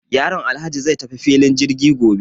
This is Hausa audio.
Yaron Alhaji zai tafi filin jirgi gobe.